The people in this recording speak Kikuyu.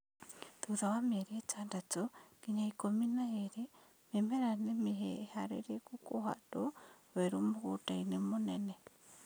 Thutha wa mĩeri ĩtandatũ nginya ikũmi na ĩrĩ, mĩmera nĩ mĩharĩrĩku kũhandwo werũ mũgũndainĩ mũnene